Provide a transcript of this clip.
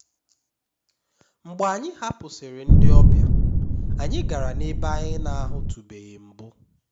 mgbe anyị hapụsịrị ndị ọbịa anyị gara n'ebe anyị na-ahụtụbeghị mbụ